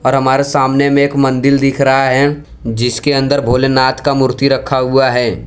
और हमारे सामने में एक मंदिर दिख रहा है जिसके अंदर भोलेनाथ का मूर्ति रखा हुआ है।